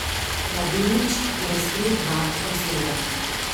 Mladenič je razkril dva razloga.